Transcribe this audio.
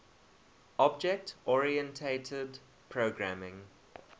object oriented programming